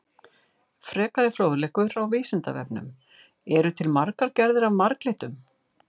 Frekari fróðleikur á Vísindavefnum: Eru til margar gerðir af marglyttum?